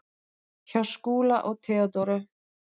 Hjá Skúla og Theodóru.